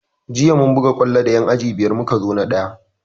Jiya mun buga kwallo da yan aji biyar muka zo na ɗaya